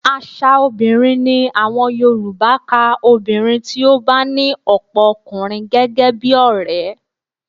Aṣa obìnrin ni àwọn Yorùbá ka obìnrin tí ó bá ní ọ̀pọ̀ ọkùnrin gẹ́gẹ́ bí ọrẹ